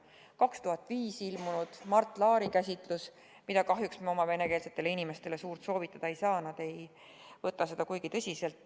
Aastal 2005 on ilmunud Mart Laari käsitlus, mida me kahjuks oma venekeelsetele inimestele eriti soovitada ei saa, sest nad ei võta seda kuigi tõsiselt.